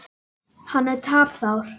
Hann er tapsár.